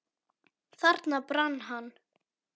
Þarna brann hann.